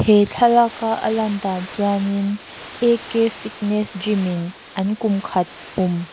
he thlalaka a lan dan chuan in a k fitness gym in an kum khat pum--